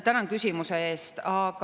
Tänan küsimuse eest!